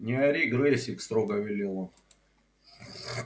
не ори грэйсик строго велел он